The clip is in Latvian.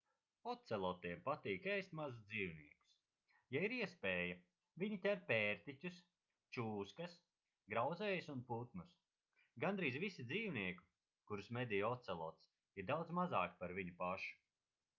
ocelotiem patīk ēst mazus dzīvniekus ja ir iespēja viņi ķer pērtiķus čūskas grauzējus un putnus gandrīz visi dzīvnieki kurus medī ocelots ir daudz mazāki par viņu pašu